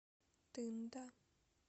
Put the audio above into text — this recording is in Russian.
тында